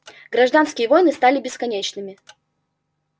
гражданские войны стали бесконечными